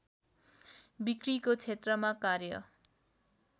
बिक्रीको क्षेत्रमा कार्य